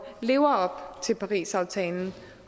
lever op til parisaftalen